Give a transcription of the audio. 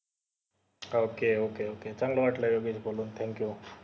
ok ok ok चांगलं वाटलं बोलून योगेश thank you